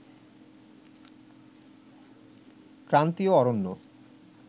ক্রান্তিয় অরণ্য